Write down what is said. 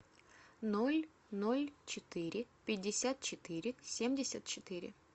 ноль ноль четыре пятьдесят четыре семьдесят четыре